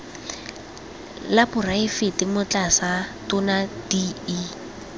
la poraefete motlatsa tona de